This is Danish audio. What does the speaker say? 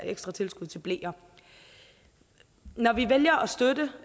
ekstra tilskud til bleer når vi vælger at støtte